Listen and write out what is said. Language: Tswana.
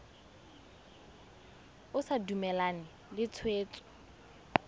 o sa dumalane le tshwetso